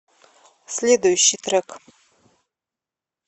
следующий трек